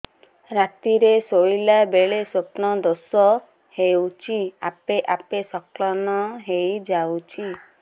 ରାତିରେ ଶୋଇଲା ବେଳେ ସ୍ବପ୍ନ ଦୋଷ ହେଉଛି ଆପେ ଆପେ ସ୍ଖଳନ ହେଇଯାଉଛି